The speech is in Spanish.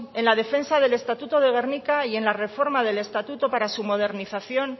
en la defensa del estatuto de gernika y en la reforma del estatuto para su modernización